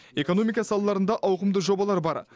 экономика салаларында ауқымды жобалар бар